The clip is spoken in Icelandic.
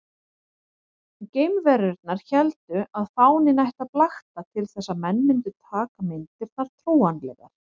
Geimverurnar héldu að fáninn ætti að blakta til þess að menn mundu taka myndirnar trúanlegar.